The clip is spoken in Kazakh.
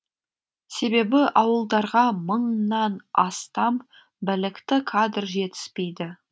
себебі ауылдарға мыңнан астам білікті кадр жетіспейді